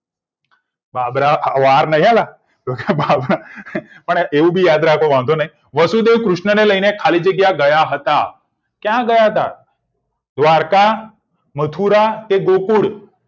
બાબરા હવાર એવું પણ યાદ રાખો વાંધો નહી વાસુદેવ કૃષ્ણ ને લઈને ખાલી જગ્યા ગયા હતા ક્યાં ગયા હતા દ્વારકા મથુરા ગોકુળ